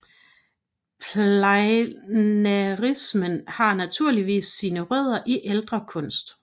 Pleinairisme har naturligvis sine rødder i ældre kunst